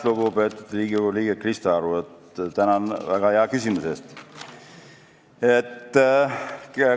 Lugupeetud Riigikogu liige Krista Aru, tänan väga hea küsimuse eest!